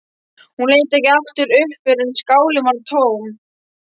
Hún leit ekki aftur upp fyrr en skálin var tóm.